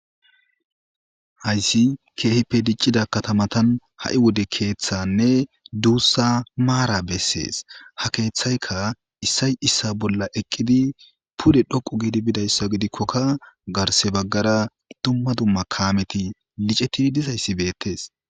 Hayssi keehippe diccida katamatan ha'i wode keeththanne duussa maara bessees ha keeththayka issay issa bolla eqqidi pude dhoqu giidi bidayssa gidikkokka garse baggara dumma dumma kaameti licetidi dizayssi beettes.